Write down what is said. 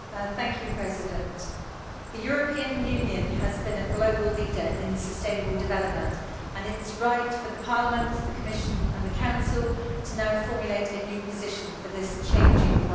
Mr President, the European Union has been a global leader in sustainable development and it is right for Parliament, the Commission and the Council to now formulate a new position for this changing world.